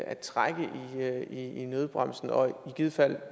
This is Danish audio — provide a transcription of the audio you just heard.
at trække i nødbremsen og i givet fald